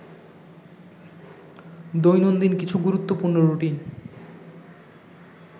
দৈনন্দিন কিছু গুরুত্বপূর্ণ রুটিন